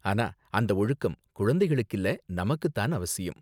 ஆனா அந்த ஒழுக்கம் குழந்தைகளுக்கு இல்ல நமக்கு தான் அவசியம்.